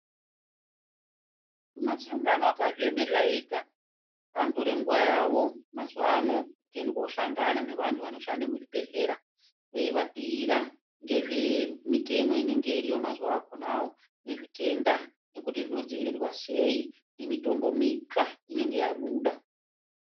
Masangano akazviemerera ega anotore nguwa yawo mazuwa ano kuende kuohlangana nevantu vanshanda muzvibhehlera veivabhuira ngezvemitemo inenge iriyo mazuwa akonawo nezvitenda nekuti zvinodziirirwa sei, nemitombo mitsva inenge yabuda.